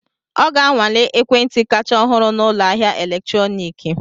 Ọ ga-anwale ekwentị kacha ọhụrụ na ụlọ ahịa eletrọnịkị.